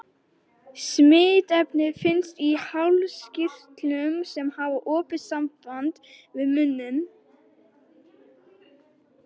Smitefnið finnst í hálskirtlum, sem hafa opið samband við munninn.